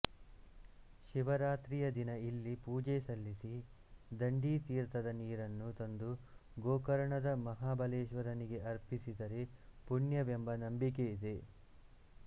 ಶಿವರಾತ್ರಿಯ ದಿನ ಇಲ್ಲಿ ಪೂಜೆ ಸಲ್ಲಿಸಿ ದಂಡಿತೀರ್ಥದ ನೀರನ್ನು ತಂದು ಗೋಕರ್ಣದ ಮಹಾಬಲೇಶ್ವರನಿಗೆ ಅರ್ಪಿಸಿದರೆ ಪುಣ್ಯವೆಂಬ ನಂಬಿಕೆ ಇದೆ